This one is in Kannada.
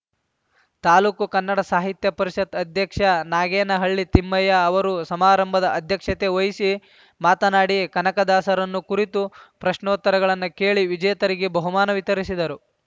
ತಾಲೂಕು ಕನ್ನಡ ಸಾಹಿತ್ಯ ಪರಿಷತ್‌ ಅಧ್ಯಕ್ಷ ನಾಗೇನಹಳ್ಳಿ ತಿಮ್ಮಯ್ಯ ಅವರು ಸಮಾರಂಭದ ಅಧ್ಯಕ್ಷತೆ ವಹಿಸಿ ಮಾತನಾಡಿ ಕನಕದಾಸರನ್ನು ಕುರಿತು ಪ್ರಶ್ನೋತ್ತರಗಳನ್ನು ಕೇಳಿ ವಿಜೇತರಿಗೆ ಬಹುಮಾನ ವಿತರಿಸಿದರು